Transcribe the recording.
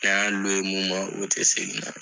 K'an bɛ mun ma , olu tɛ segin.